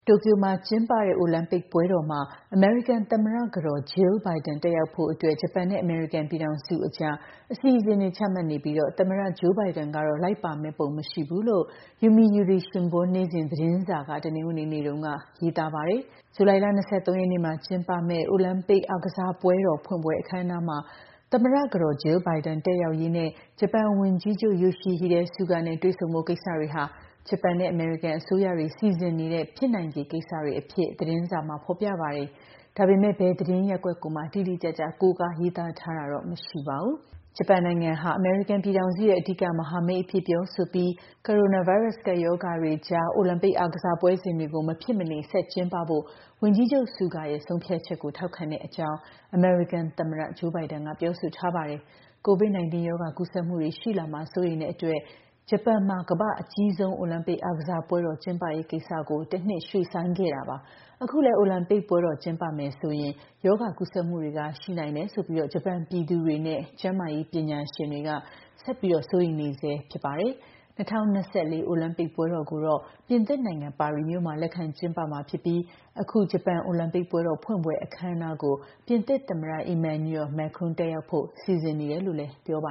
တိုကျိုမှာကျင်းပတဲ့ အိုလံပစ်ပွဲတော်မှာ အမေရိကန်သမ္မတကတော် Jill Biden တက်ရောက်ဖို့အတွက် ဂျပန်နဲ့ အမေရိကန်ပြည်ထောင်စုအကြား အစီအစဉ်တွေ ချမှတ်နေပြီး သမ္မတ Joe Biden တော့ လိုက်ပါမယ့်ပုံ မရှိဘူးလို့ Yomiuri Shimbun နေ့စဉ်သတင်းစာက တနင်္ဂနွေနေ့မှာ ရေးပါတယ်။ ဇူလိုင်လ ၂၃ ရက် ကျင်းပမယ့် အိုလံပစ်ဖွင့်ပွဲ အခမ်းအနားမှာ သမ္မတကတော် Jill Biden တက်ရောက်ရေးနဲ့ ဂျပန်ဝန်ကြီးချုပ် Yoshihide Suga နဲ့ တွေ့ဆုံဖို့ ကိစ္စတွေဟာ ဂျပန်နဲ့ အမေရိကန်အစိုးရတွေ စီစဉ်နေတဲ့ ဖြစ်နိုင်ခြေကိစ္စတွေအဖြစ် သတင်းစာမှာ ဖော်ပြပါတယ်။ ဒါပေမယ့် ဘယ်သတင်းရပ်ကွက်ကိုမှ တိတိကျကျ ကိုးကားရေးသားထားတာတော့ မရှိပါဘူး။ ဂျပန်ဟာ အမေရိကန်ပြည်ထောင်စုရဲ့ အဓိကမဟာမိတ်အဖြစ် ပြောဆိုပြီး ကိုရိုနာဗိုင်းရပ်စ် ကပ်ရောဂါတွေအကြား မဖြစ်မနေ ဆက်ကျင်းပဖို့ ဝန်ကြီးချုပ် Suga ရဲ့ ဆုံးဖြတ်ချက်ကို ထောက်ခံတဲ့အကြောင်း အမေရိကန်သမ္မတ Joe Biden က ပြောဆိုထားပါတယ်။ COVID-19 ရောဂါ ကူးစက်မှုတွေရှိလာမှာ စိုးရိမ်တဲ့အတွက် ဂျပန်မှာ ကမ္ဘာ့အကြီးဆုံး အိုလံပစ်အားကစားပွဲတော် ကျင်းပရေးကိစ္စ တနှစ်ရွှေ့ဆိုင်းထားခဲ့တာပါ။ အခုလည်း အိုလံပစ်ပွဲ ကျင်းပမယ်ဆိုရင် ရောဂါကူးစက်မှုတွေ ရှိနိုင်တယ်ဆိုပြီး ဂျပန်ပြည်သူတွေနဲ့ ကျန်းမာရေးပညာရှင်တွေ ဆက်လက် စိုးရိမ်နေဆဲ ဖြစ်ပါတယ်။ ၂၀၂၄ အိုလံပစ်ပွဲတော်ကိုတော့ ပြင်သစ်နိုင်ငံ ပါရီမြို့မှာ လက်ခံကျင်းပမှာဖြစ်ပြီး အခု ဂျပန်အိုလံပစ်ပွဲတော် ဖွင့်ပွဲအခမ်းအနားကို ပြင်သစ်သမ္မတ Emmanuel Macron တက်ရောက်ဖို့ စီစဉ်နေတယ်လို့ ပြောပ